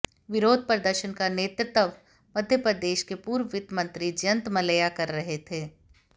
विरोध प्रदर्शन का नेतृत्व मध्यप्रदेश के पूर्व वित्त मंत्री जयंत मलैया कर रहे थे